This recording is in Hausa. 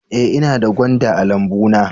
Ee, ina da gwanda a lambuna